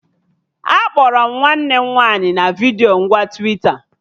Akpọrọ m nwanne m nwaanyị na vidiyo ngwa Twita